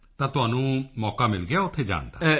ਤਾਂ ਤੁਹਾਨੂੰ ਮੌਕਾ ਮਿਲ ਗਿਆ ਉੱਥੇ ਜਾਣ ਦਾ